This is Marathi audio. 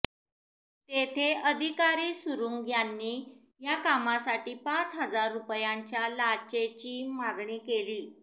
तेथे अधिकारी सुरुंग यांनी या कामासाठी पाच हजार रुपयांच्या लाचेची मागणी केली